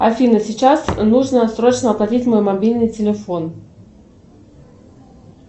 афина сейчас нужно срочно оплатить мой мобильный телефон